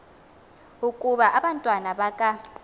ukuba abantwana baka